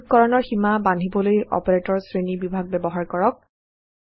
যোগকৰণৰ সীমা বান্ধিবলৈ অপাৰেটৰ্ছ শ্ৰেণী বিভাগ ব্যৱহাৰ কৰক